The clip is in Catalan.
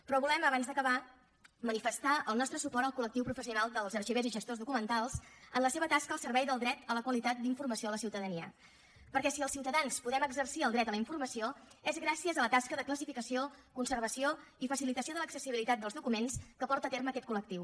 però volem abans d’acabar manifestar el nostre suport al col·lectiu professional dels arxivers i gestors documentals en la seva tasca al servei del dret a la qualitat d’informació a la ciutadania perquè si els ciutadans podem exercir el dret a la informació és gràcies a la tasca de classificació conservació i facilitació de l’accessibilitat dels documents que porta a terme aquest col·lectiu